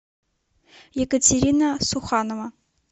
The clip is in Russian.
екатерина суханова